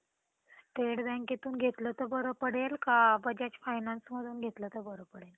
enjoy करतो पण काही गोष्टी अशा असतात ते म्हणतात ना तीन मित्र असले समोरच्याला सहन होत नाही तीन तीगाडा नि काम बिघाडा असं काहीच नसत मित्रांनो